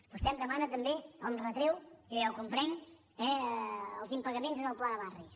vostè em demana també o em retreu i jo ja ho com·prenc els impagaments en el pla de barris